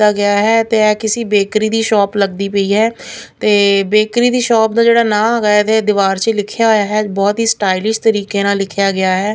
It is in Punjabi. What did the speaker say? ਗਿਆ ਹੈ ਤੇ ਇਹ ਕਿਸੀ ਬੇਕਰੀ ਦੀ ਸ਼ੋਪ ਲੱਗਦੀ ਪਈ ਹੈ ਤੇ ਬੇਕਰੀ ਦੀ ਸ਼ਾਪ ਦਾ ਜਿਹੜਾ ਨਾਂ ਹੈਗਾ ਇਹਦੇ ਦੀਵਾਰ ਸੀ ਲਿਖਿਆ ਹੋਇਆ ਹੈ ਬਹੁਤ ਹੀ ਸਟਾਈਲਿਸ਼ ਤਰੀਕੇ ਨਾਲ ਲਿਖਿਆ ਗਿਆ ਹੈ।